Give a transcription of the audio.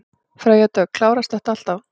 Freyja Dögg: Klárast þetta alltaf?